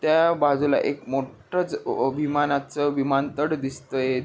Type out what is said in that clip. त्या बाजूला एक मोठ च विमाना च विमानतळ दिसतंय.